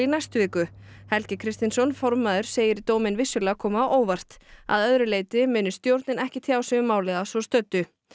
næstu viku Helgi Kristinsson formaður segir dóminn vissulega koma á óvart að öðru leyti muni stjórnin ekki tjá sig um málið að svo stöddu